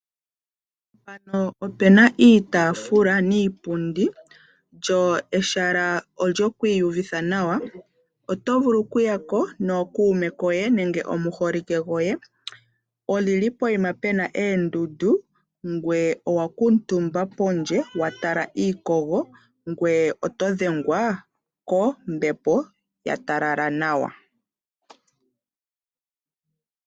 Mpano opuna iitaafula niipundi yili mehala lyoku iyuvitha nawa, oto vulu oku yako nookuume koye nenge omuholike goye. Olyili pokuma puna eendundu ngoye oto vulu oku kuutumba pondje eto dhengwa kombepo yatalala nawa.